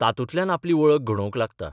तातूंतल्यान आपली वळख घडोवंक लागता.